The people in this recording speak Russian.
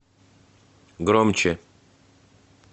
громче